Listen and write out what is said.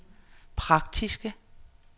praktiske